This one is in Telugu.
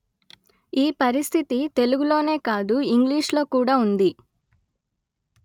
ఈ పరిస్థితి తెలుగులోనే కాదు ఇంగ్లీషులో కూడా ఉంది